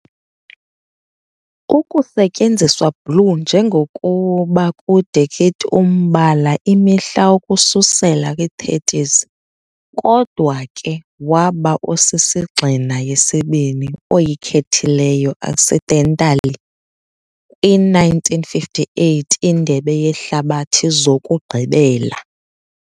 Ukusetyenziswa blue njengokuba kude kit umbala imihla ukususela kwi30s, kodwa ke waba osisigxina yesibini oyikhethileyo accidentally kwi-1958 Indebe Yehlabathi Zokugqibela.